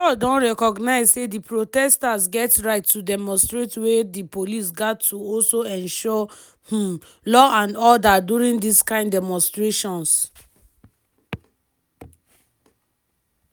di judge don recognize say di protesters get right to demonstrate wey di police gat to also ensure um law and order during dis kind demonstrations.